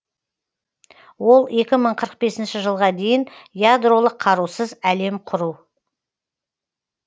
ол екі мың қырық бесінші жылға дейін ядролық қарусыз әлем құру